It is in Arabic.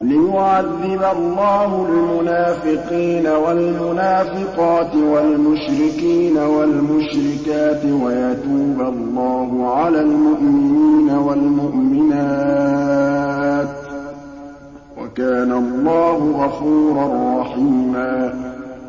لِّيُعَذِّبَ اللَّهُ الْمُنَافِقِينَ وَالْمُنَافِقَاتِ وَالْمُشْرِكِينَ وَالْمُشْرِكَاتِ وَيَتُوبَ اللَّهُ عَلَى الْمُؤْمِنِينَ وَالْمُؤْمِنَاتِ ۗ وَكَانَ اللَّهُ غَفُورًا رَّحِيمًا